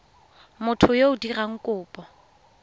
motho yo o dirang kopo